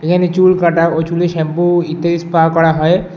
এখানে চুল কাটা ও চুলে শ্যাম্পু ইত্যাদি স্পা করা হয়।